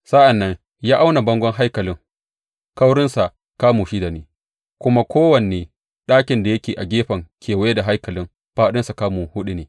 Sa’an nan ya auna bangon haikalin; kaurinsa kamu shida ne, kuma kowane ɗakin da yake a gefe kewaye da haikalin fāɗinsa kamu huɗu ne.